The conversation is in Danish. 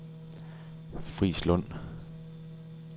Frislund